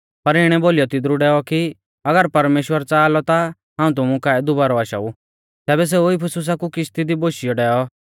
पर इणै बोलीयौ तिदरु डैऔ कि अगर परमेश्‍वर च़ाहा लौ ता हाऊं तुमु काऐ दुबारौ आशाऊ तैबै सेऊ इफिसुसा कु किश्ती दी बोशियौ डैऔ